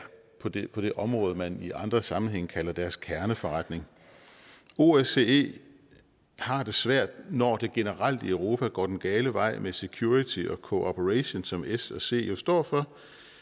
på det på det område man i andre sammenhænge kalder deres kerneforretning osce har det svært når det generelt i europa går den gale vej med security og cooperation som s og c jo står for